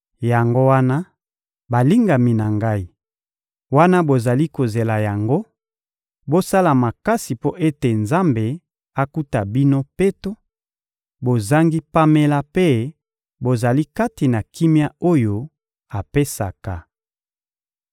Yango wana, balingami na ngai, wana bozali kozela yango, bosala makasi mpo ete Nzambe akuta bino peto, bozangi pamela mpe bozali kati na kimia oyo apesaka.